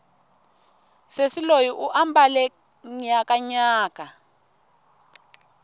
sesi loyi u mbale nyakanyaka